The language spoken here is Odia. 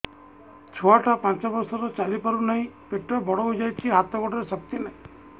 ଛୁଆଟା ପାଞ୍ଚ ବର୍ଷର ଚାଲି ପାରୁ ନାହି ପେଟ ବଡ଼ ହୋଇ ଯାଇଛି ହାତ ଗୋଡ଼ରେ ଶକ୍ତି ନାହିଁ